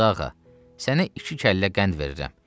Qazıağa, sənə iki kəllə qənd verirəm.